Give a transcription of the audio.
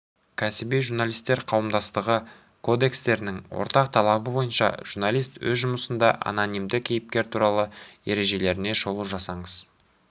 кәсіби журналистер қауымдастығы кодекстерінің ортақ талабы бойынша журналист өз жұмысында анонимді кейіпкер туралы ережелеріне шолу жасаңыз